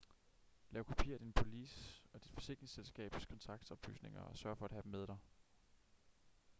lav kopier af din police og dit forsikringsselskabs kontaktoplysninger og sørg for at have dem med dig